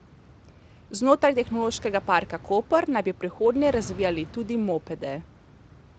Znotraj Tehnološkega parka Koper naj bi v prihodnje razvijali tudi mopede.